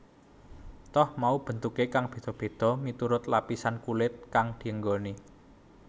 Toh mau bentuke beda beda miturut lapisan kulit kang dienggoni